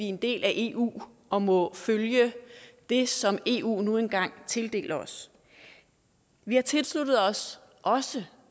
en del af eu og må følge det som eu nu engang tildeler os vi har tilsluttet os også